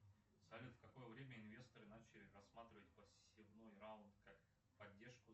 салют в какое время инвесторы начали рассматривать посевной раунд как поддержку